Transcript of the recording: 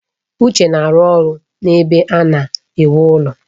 Uche na-arụ ọrụ n'ebe a na-ewu ụlọ